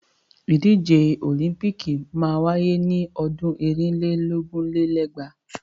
Ìdíje òlíḿpìkì máa wáyé ni ọdún ẹ̀rin lé lógún lé lẹ́gbàá.